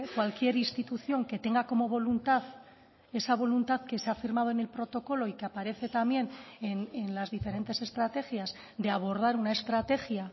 cualquier institución que tenga como voluntad esa voluntad que se ha firmado en el protocolo y que aparece también en las diferentes estrategias de abordar una estrategia